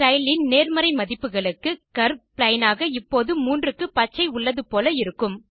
style இன் நேர்மறை மதிப்புகளுக்கு கர்வ் பிளெயின் ஆக இப்போது 3 க்கு பச்சை உள்ளது போல இருக்கும்